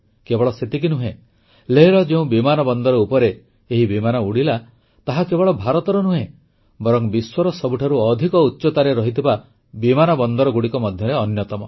କେବଳ ସେତିକି ନୁହେଁ ଲେହର ଯେଉଁ ବିମାନ ବନ୍ଦର ଉପରେ ଏହି ବିମାନ ଉଡ଼ିଲା ତାହା କେବଳ ଭାରତର ନୁହେଁ ବରଂ ବିଶ୍ୱର ସବୁଠାରୁ ଅଧିକ ଉଚ୍ଚତାରେ ରହିଥିବା ବିମାନ ବନ୍ଦରଗୁଡ଼ିକ ମଧ୍ୟରେ ଅନ୍ୟତମ